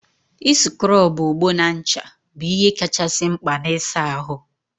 ị sịkrọbụ ogbo na ncha bụ ihe kachasị mkpa n'ịsa ahụ.